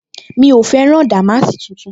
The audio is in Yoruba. Mi ò fẹ́ rán dàmáàsì tuntun